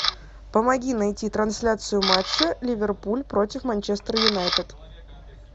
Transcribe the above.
помоги найти трансляцию матча ливерпуль против манчестер юнайтед